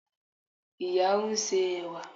ìyá n se ẹwà